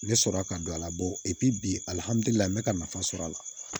Ne sɔrɔla ka don a la bil'i la n bɛ ka nafa sɔrɔ a la